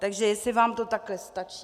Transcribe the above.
Takže jestli vám to takhle stačí?